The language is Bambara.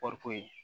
Kɔɔriko ye